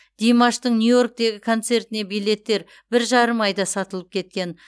димаштың нью йорктегі концертіне билеттер бір жарым айда сатылып кеткен